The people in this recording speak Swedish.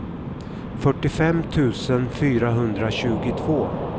fyrtiofem tusen fyrahundratjugotvå